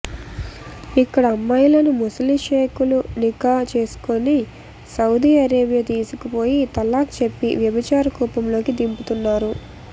ఇక్కడి అమ్మాయిలను ముసలి షేకులు నికా చేసుకొని సౌదీ అరేబియా తీసుకుపోయి తలాక్ చెప్పి వ్యభిచార కూపంలోకి దింపుతున్నారు